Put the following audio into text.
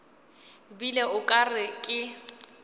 bile o ka re ke